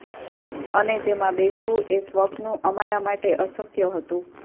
અને તેમાં બેસવું એ સ્વપ્નું અમારા માટે અશક્ય હતું